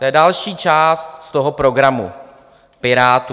- To je další část z toho programu Pirátů.